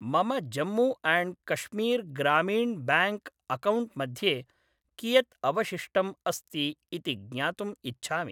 मम Jammu and Kashmir Grameen bank account मध्ये कियत् अवशिष्टम् अस्ति इति ज्ञातुम् इच्छामि।